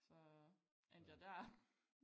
Så endte jeg dér